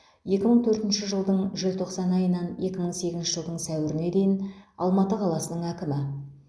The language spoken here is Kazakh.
екі мың төртінші жылдың желтоқсан айынан екі мың сегізінші жылдың сәуіріне дейін алматы қаласының әкімі